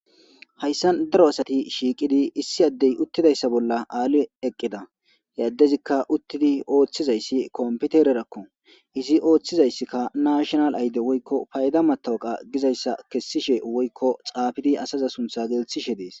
Haysan daro asati shiiwidi issi addey uttidaysa bolla Ali eqida he addezika uttidi oothizaysi kompitererako izi oothizaysi NI woyko payda matoqa gizaysa kesishe woyko xaafidi asaza sunthaza gelthishe dees.